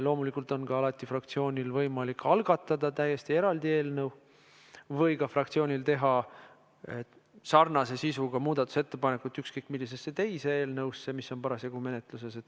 Loomulikult on fraktsioonil alati võimalik algatada ka täiesti eraldi eelnõu või teha sarnase sisuga muudatusettepanek ükskõik millise teise eelnõu kohta, mis on parasjagu menetluses.